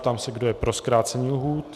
Ptám se, kdo je pro zkrácení lhůty.